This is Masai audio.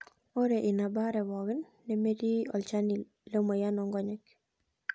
Ore ina baare pookin nemetii olchani lemoyian oonkonyek.